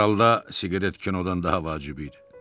Hər halda siqaret kinodan daha vacib idi.